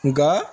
Nka